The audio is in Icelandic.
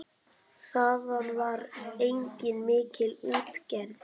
Þaðan var einnig mikil útgerð.